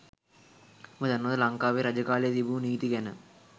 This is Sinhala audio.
උබ දන්නවද ලංකාවේ රජ කාලේ තිබුණු නීති ගැන?